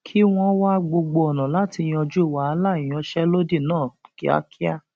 kí wọn wá gbogbo ọnà láti yanjú wàhálà ìyanṣẹlódì náà kíákíá